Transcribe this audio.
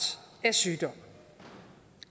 af sygdom